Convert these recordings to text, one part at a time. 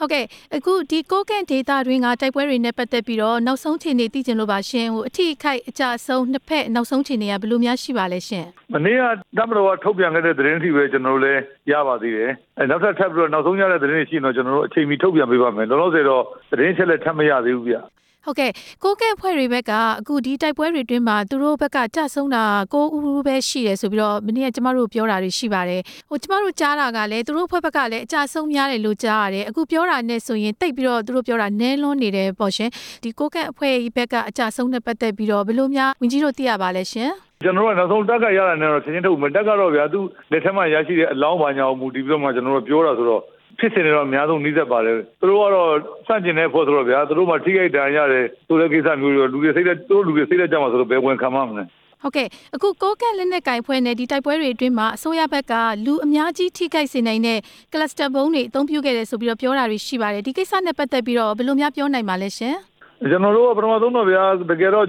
ဟုတ်ကဲ့ ဒီကိုးကန့်ဒေသတွင်းက တိုက်ပွဲတွေနဲ့ပတ်သက်ပြီးတော့ နောက်ဆုံးအခြေ အနေသိချင်လို့ပါရှင်၊ အထိအခိုက်အကျအဆုံး နောက်ဆုံးအခြေအနေက ဘယ်လိုများရှိပါသလဲရှင့်။ မနေ့က တပ်မတော်က ထုတ်ပြန်လိုက်တဲ့ သတင်းအထိပဲ ကျနော်တို့က ရပါသေးတယ် ၊ နောက်ထပ် ထပ်ပြီးတော့နောက်ဆုံးရတဲ့ သတင်းတွေရှိရင်တော့ နောက်ဆုံးရတဲ့သတင်းတွေ အချိန်မီ ထုတ်ပြန်ပေးပါ့မယ်၊ လောလောဆယ်တော့ သတင်းအချက်အလက် ထပ်မရသေးဘူးဗျ။ ဟုတ်ကဲ့ ကိုးကန့်အဖွဲ့တွေဘက်က ဒီတိုက်ပွဲတွေအတွင်းမှာ သူတို့ဘက်က ကျဆုံးတာ ၉ ဦးပဲရှိတယ်ဆိုပြီးတော့ မနေ့က ကျမတို့ကို ပြောတာတွေရှိပါတယ်၊ ကျမတို့ကြားတာကလည်း သူတို့အဖွဲ့ဘက်က လည်း အကျအဆုံးများတယ်လို့ကြားရတယ်၊ အခုပြောတာနဲ့ဆိုရင် သိပ်ပြီးတော့ သူတို့ပြောတာ နည်းလွန်းနေ တယ်ပေါ့ရှင်၊ ဒီကိုးကန့်အဖွဲ့ဘက်က အကျအဆုံးနဲ့ပတ်သက်ပြီးတော့ ဘယ်လိုများဝန်ကြီးတို့ သိရပါလဲရှင့်။ ကျနော်တို့က နောက်ဆုံးတပ်ကရတာနဲ့ပဲ သတင်းထုတ်မယ်၊ တပ်ကတော့ဗျာ သူ့လက်ထဲ မှာ ရရှိတဲ့အလောင်းဘာညာပေါ်မူတည်ပြီးတော့မှ ကျနော်တို့ ပြေတာဆိုတော့ ဖြစ်နိုင်ချေတွေတော့ အများဆုံး နီးစပ်ပါတယ်၊ သူတို့ကတော့ ဆန့်ကျင်တဲ့အဖွဲ့ဆိုတော့ဗျာ သူတို့မှာ ထိခိုက်ဒဏ်ရာရတယ် ဆိုတဲ့ကိစ္စမျိုးတွေတော့ သူတို့လူတွေစိတ်ဓါတ်ကျမှာစိုးတော့ ဘယ်ဝန်ခံပါ့မလဲ။ ဟုတ်ကဲ့ အခုကိုးကန့်လက်နက်ကိုင်အဖွဲ့နဲ့ ဒီတိုက်ပွဲတွေအတွင်းမှာ အစိုးရဘက်က လူအများကြီးထိခိုက်စေနိုင်တဲ့ ဗုံးတွေအသုံးပြုခဲ့တယ်ဆိုပြီး ပြောတာတွေရှိပါတယ်၊ ဒီကိစ္စနဲ့ပတ်သက်ပြီးတော့ရော ဘယ်လိုများပြောနိုင်ပါလဲရှင်။ ကျနော်တို့ ပထမဆုံးတော့ဗျာ တကယ်တော့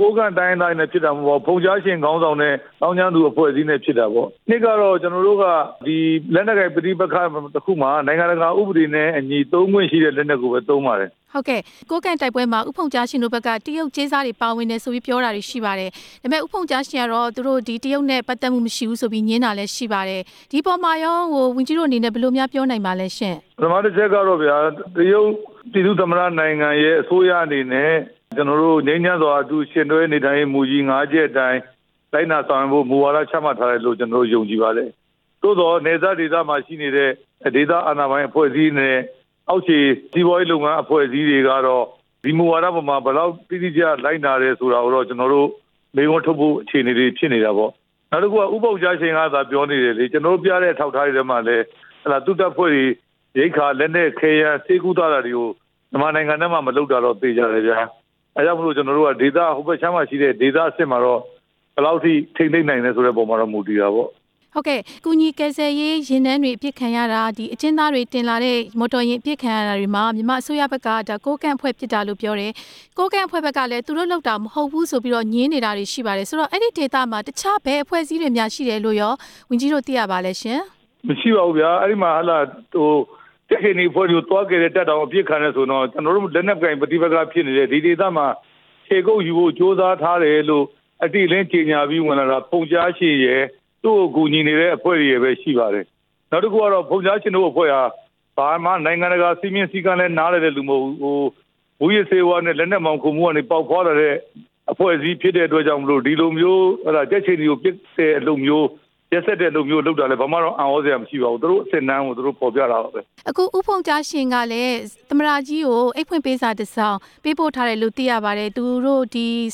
ကိုးကန့်တိုင်းရင်းသားတွေနဲ့ ဖြစ်တာမဟုတ် ပါဘူး၊ ဖုန်ကြားရှင် ခေါင်းဆောင်တဲ့ သောင်းကျန်းသူ အဖွဲ့အစည်းနဲ့ဖြစ်တာပေါ့၊ အဓိကကတော့ ကျနော်တို့က လက်နက်ကိုင်ပဋိပက္ခတစ်ခုမှာ နိုင်ငံတကာဥပဒေတွေနဲ့အညီ သုံးခွင့်ရှိတဲ့လက်နက်ကိုပဲ သုံးပါတယ်။ ဟုတ်ကဲ့ ကိုးကန့်တိုက်ပွဲမှာ ဦးဖုန်ကြားရှင်တို့ဘက်က တရုတ်ကြေးစားတွေ ပါဝင်တယ် ဆိုပြီး ပြောတာတွေရှိပါတယ်၊ ဒါပေမယ့် ဦးဖုန်ကြားရှင်ကတော့ သူတို့ဒီတရုတ်နဲ့ ပတ်သက်မှုမရှိဘူးဆိုပြီး ငြင်းတာ လည်းရှိပါတယ်၊ ဒီအပေါ်မှာရော ဝန်ကြီးတို့အနေနဲ့ ဘယ်လိုများပြောနိုင်ပါလဲရှင့်။ ပထမတစ်ချက်ကတော့ဗျာ တရုတ်ပြည်သူ့သမ္မတနိုင်ငံရဲ့ အစိုးရအနေနဲ့ ကျနော်တို့ ငြိမ်းချမ်းစွာ အတူလက်တွဲနေထိုင်နိုင်ရေး မူကြီး ၅ ချက်အတိုင်း လိုက်နာဆောင်ရွက်ဖို့ မူဝါဒချမှတ်ထားတယ်လို့ ကျနော်တို့ ယုံကြည်ပါတယ်၊ သို့သော်နယ်စပ်ဒေသမှာ ရောက်ရှိနေတဲ့ ဒေသအာဏာပိုင်အဖွဲ့အစည်းနဲ့ အောက်ခြေ စီးပွားရေး အဖွဲ့အစည်းတွေကတော့ ဒီမူဝါဒအပေါ်မှာ ဘယ်လောက်တိတိကျကျ လိုက်နာတယ်ဆိုတာကိုတော့ ကျနော်တို့ မေးခွန်းထုတ်ဖို့ အခြေအနေတွေဖြစ်နေတာပေါ့၊ နောက်တစ်ခုက ဦးဖုန်ကြားရှင်ကသာ ပြောသေး တယ်လေ၊ ကျနော်တို့ ပြတဲ့အထောက်အထားတွေထဲမှာလည်း သူ့တပ်ဖွဲ့တွေ ရိက္ခာ၊ လက်နက်ခဲယမ်း၊ ဆေးကုသ တာတွေကို မြန်မာနိုင်ငံထဲမှာ မလုပ်တာတော့ သေချာတယ်ဗျာ၊ ဒါကြောင့်မို့လို့ ကျနော်တို့က ဒေသဟိုဘက် အခြမ်းမှာရှိတဲ့ ဒေသအဆင့်မှာတော့ ဘယ်လောက်အထိ ထိန်းသိမ်းနိုင်လဲပေါ်မှာတော့ မူတည်တာပေါ့။ ဟုတ်ကဲ့ ကူညီကယ်ဆယ်ရေး ယာဉ်တန်းတွေအပစ်ခံရတာ၊ အကျဉ်းသားတွေတင်လာ တဲ့ မော်တော်ယာဉ်အပစ်ခံရတာတွေမှာ မြန်မာအစိုးရဘက်က ကိုးကန့်အဖွဲ့ ပစ်တာလို့ပြောတယ်၊ ကိုးကန့်အဖွဲ့ ဘက်ကလည်း သူတို့လုပ်တာ မဟုတ်ဘူးဆိုပြီးတော့ ငြင်းနေတာတွေရှိပါတယ်၊ ဆိုတော့အဲ့ဒေသမှာ တခြား ဘယ်အဖွဲ့အစည်းတွေများ ရှိတယ်လို့ရော ဝန်ကြီးတို့ သိရပါလားရှင့်။ မရှိပါဘူးဗျာ အဲ့မှာကြက်ခြေနီအဖွဲ့တွေကို သွားကယ်တဲ့တပ်တောင် အပစ်ခံရတယ် ဆိုရင်တော့ ကျနော်တို့ လက်နက်ကိုင်ပဋိပက္ခဖြစ်နေတဲ့ ဒီဒေသမှာ ခြေကုတ်ယူဖို့ ကြိုးစားထားတယ်လို့ အတိအလင်းကြေညာပြီးဝင်လာတာ ဖုန်ကြားရှင်ရယ်၊ သူ့ကိုကူညီနေတဲ့ အဖွဲ့တွေရယ်ပဲရှိပါတယ်၊ နောက်တစ်ခု ကတော့ ဖုန်ကြားရှင်တို့အဖွဲ့က ဘာမှနိုင်ငံတကာ စည်းမျဉ်းစည်းကမ်းလည်း နားလည်တဲ့သူတွေမဟုတ်ဘူး၊ မူးယစ်ဆေးဝါးနဲ့ လက်နက်မှောင်ခိုမှုကနေ ပေါက်ဖွားလာတဲ့ အဖွဲ့အစည်းဖြစ်တဲ့အတွက်ကြောင့်မို့လို့ ဒီလိုမျိုးကြက်ခြေနီကို ပစ်တဲ့အလုပ်မျိုး၊ ရက်စက်တဲ့အလုပ်မျိုးလုပ်တာလည်း ဘယ်လိုမှအံ့သြစရာမရှိပါဘူး၊ သူတို့အဆင့်အတန်းကို သူတို့ဖော်ပြတာပါပဲ။ အခု ဦးဖုန်ကြားရှင်ကလည်း သမ္မတကြီးကို အိပ်ဖွင့်ပေးစာတစ်စောင် ပေးပို့ထားတယ်လို့ သိရပါတယ်၊ သူတို့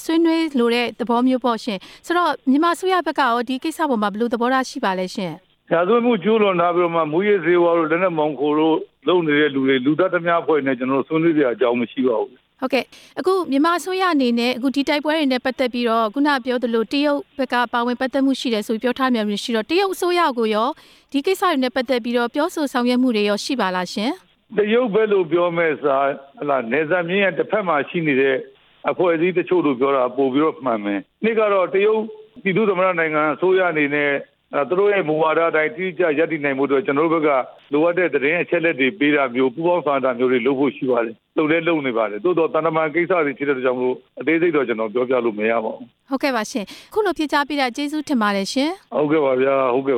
ဆွေးနွေးလိုတဲ့သဘောမျိုးပေါ့ရှင့်၊ ဆိုတော့ မြန်မာအစိုးရဘက်ကရော ဒီကိစ္စအပေါ်မှာ ဘယ်လို သဘောထားရှိပါလဲရှင့်။ ရာဇဝတ်မှု ကျူးလွန်ထားပြီးမှ မူးယစ်ဆေးဝါးတို့၊ လက်နက်မှေင်ခိုတို့ လုပ်နေတဲ့လူတွေ၊ လူသတ်ဓါးမြတိုက်နေတဲ့အဖွဲ့တွေနဲ့ ကျနော်တို့ဆွေးနွေးစရာ အကြောင်းမရှိပါဘူး။ ဟုတ်ကဲ့ မြန်မာအစိုးရအနေနဲ့ အခုဒီတိုက်ပွဲတွေနဲ့ ပတ်သက်ပြီးတော့ အခုနကပြောသလို တရုတ်ဘက်က ပါဝင်ပတ်သက်မှုရှိတယ်ဆိုပြီး ပြောထားတာတွေရှိတော့ တရုတ်အစိုးရကိုရော ဒီကိစ္စတွေနဲ့ ပတ်သက်ပြီး ပြောဆိုဆောင်ရွက်မှုတွေရော ရှိပါလားရှင်။ တရုတ်ဘက်လို့ပြောမယ့်အစား နယ်စပ်မျဉ်းရဲ့ တစ်ဘက်မှာရှိနေတဲ့ အဖွဲ့အစည်းတချို့ လို့ပြောတာ ပိုပြီးတော့မှန်မယ်၊ အဓိကကတော့ တရုတ်ပြည်သူ့သမ္မတနိုင်ငံ အစိုးရအနေနဲ့ သူတို့ရဲ့မူဝါဒအတိုင်း တိတိကျကျရပ်တည်နိုင်ဖို့အတွက် ကျနော်တို့ဘက်က လိုအပ်တဲ့သတင်းနဲ့ အချက်အလက်တွေပေးတာမျိုး၊ ပူးပေါင်းဆောင်ရွက်တာမျိုးတွေ လုပ်ဖို့ရှိပါတယ်၊ လုပ်လည်းလုပ်နေပါတယ်၊ သို့သော် သံတမန်ကိစ္စတွေဖြစ် တာကြောင့်မို့လို့ အသေးစိတ်တော့ ကျနော်ပြောပြလို့မရပါဘူး။ ဟုတ်ကဲ့ပါရှင့် အခုလိုဖြေကြားပေးတာ ကျေဇူးတင်ပါတယ်ရှင်။ ဟုတ်ကဲ့ပါဗျာ၊ ဟုတ်ကဲ့